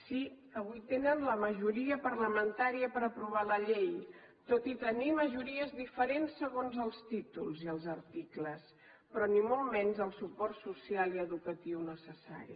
sí avui tenen la majoria parlamentària per aprovar la llei tot i tenir majories diferents segons els títols i els articles però ni molt menys el suport social i educatiu necessari